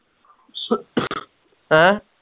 ਹੈਂ